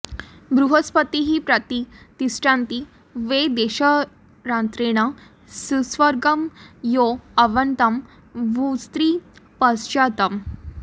बृह॒स्पतिः॒ प्रति॑ तिष्ठन्ति॒ वै द॑शरा॒त्रेण॑ सुव॒र्गं यो अर्व॑न्तं॒ भूस्त्रिपं॑चा॒शत्